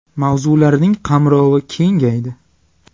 Mavzularining qamrovi kengaydi.